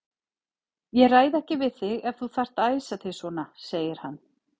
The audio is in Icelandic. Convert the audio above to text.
Ég ræði ekki við þig ef þú þarft að æsa þig svona, segir hann.